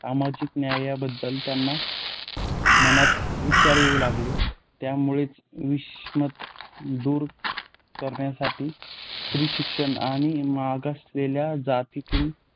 सामाजिक न्यायाबाबत त्यांना मनात विचार येऊ लागले. त्यामुळेच विषमता दूर करण्यासाठी स्त्रीशिक्षण आणि मागासलेल्या जातीतील